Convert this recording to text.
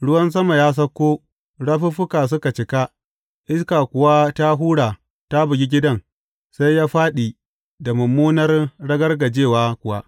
Ruwan sama ya sauko, rafuffuka suka cika, iska kuwa ta hura ta bugi gidan, sai ya fāɗi da mummunar ragargajewa kuwa.